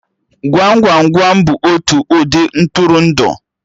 Gwam Gwam Gwam bụ otu ụdị Ntụrụndụ